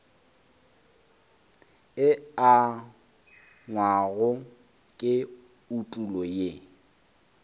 e angwago ke etulo ye